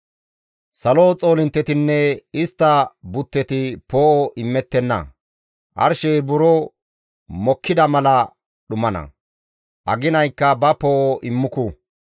Salo xoolinttetinne istta butteti poo7o immettenna; arshey buro mokkida mala dhumana; aginaykka ba poo7o immuku.